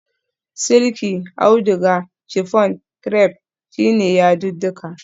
Silki, auduga, chiffon, crepe su ne yadudduka